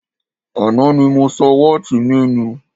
Àná ni mo sọ wọ́ọ̀tì mi nù